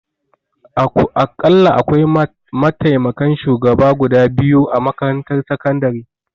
Akalla akwai mataimakan shugaba guda biyu a makarantar sakandare